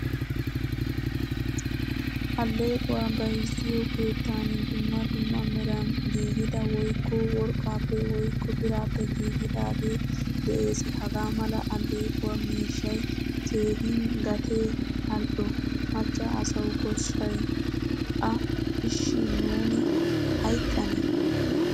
Allequwaa bayzziyo keettan dumma dumma meran giigida woykko worqqappe woykko birappe giigidage de'ees. Hagaamala allequwaa miishshay keehin gatee al'o. Macca asawu koshshay a. Ishi nuuni hayqqanne.